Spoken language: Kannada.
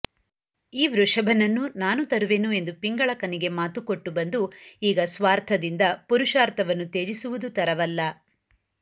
ಈ ವೃಷಭನನ್ನೂ ನಾನು ತರುವೆನು ಎಂದು ಪಿಂಗಳಕನಿಗೆ ಮಾತು ಕೊಟ್ಟು ಬಂದು ಈಗ ಸ್ವಾರ್ಥದಿಂದ ಪುರುಷಾರ್ಥವನ್ನು ತ್ಯಜಿಸುವುದು ತರವಲ್ಲ